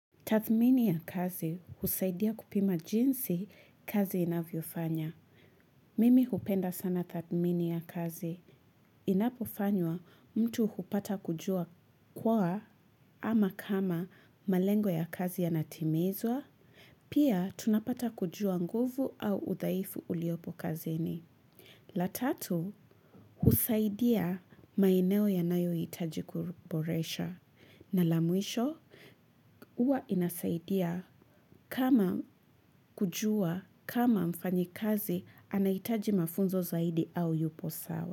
Tathmini ya kazi husaidia kupima jinsi kazi inavyo fanya. Mimi hupenda sana tathmini ya kazi. Inapofanywa mtu hupata kujua kwa ama kama malengo ya kazi ya natimizwa. Pia tunapata kujua nguvu au udhaifu uliopo kazini. La tatu husaidia maeneo ya nayo hitajikuboresha. Na lamwisho, uwa inasaidia kama kujua, kama mfanya kazi, anahitaji mafunzo zaidi au yupo sawa.